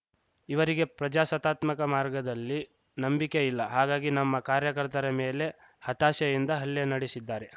ಇವರಿಗೆ ಪ್ರಜಾಸತ್ತಾತ್ಮಕ ಮಾರ್ಗದಲ್ಲಿ ನಂಬಿಕೆ ಇಲ್ಲ ಹಾಗಾಗಿ ನಮ್ಮ ಕಾರ್ಯಕರ್ತರ ಮೇಲೆ ಹತಾಶೆಯಿಂದ ಹಲ್ಲೆ ನಡೆಸಿದ್ದಾರೆ